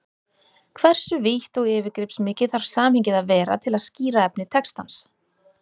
Hversu vítt og yfirgripsmikið þarf samhengið að vera til að skýra efni textans?